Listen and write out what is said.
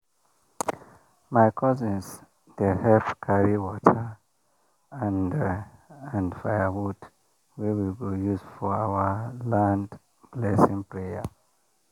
my cousins dey help carry water and and firewood wey we go use for our land blessing prayer